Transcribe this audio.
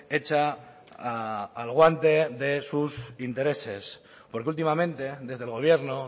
hecha al guante de sus intereses porque últimamente desde el gobierno